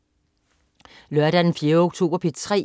Lørdag den 4. oktober - P3: